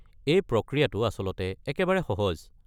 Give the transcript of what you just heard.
এই প্ৰক্ৰিয়াটো আচলতে একেবাৰে সহজ।